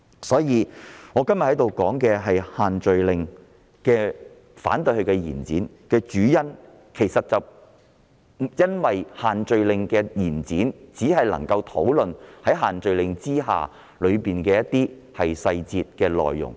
因此，我今天在此反對延展限聚令修訂期限的主因，是因為這做法只能讓我們討論限聚令的一些細節、內容。